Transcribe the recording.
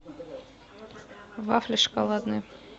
вафли шоколадные